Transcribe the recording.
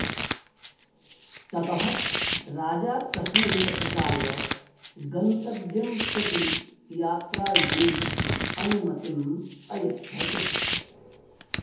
ततः राजा तस्मै पथिकाय गन्तव्यं प्रति यात्रायै अनुमतिम् अयच्छत्